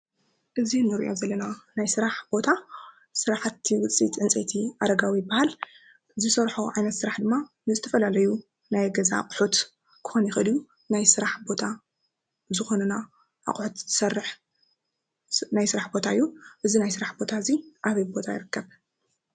እዚ ንሪኦ ዘለና ናይ ስራሕ ቦታ ስራሕቲ ውፅኢት ዕንፀይቲ ኣረጋዊ ይበሃል፡፡ ዝሰርሖ ዓይነት ስራሕቲ ድማ ዝተፈላለዩ ናይ ገዛ ኣቁሑት ክኮን ይክእልእዩ፡፡ ናይ ስራሕ ቦታ ዝኮነ ኣቁሑት ዝሰርሕ ናይ ስራሕ ቦታ እዩ፡፡ እዚ ናይ ስራሕ ቦታ እዚ ኣበይ ቦታ ይርከብ ?